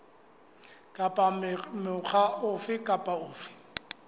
kapa mokga ofe kapa ofe